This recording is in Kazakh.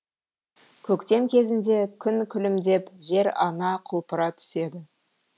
көктем кезінде күн күлімдеп жер ана құлпыра түседі